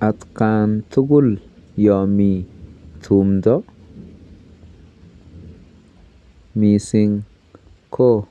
Atkan tugul yami tumdo, mising ko